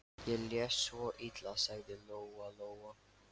Ég les svo illa, sagði Lóa-Lóa.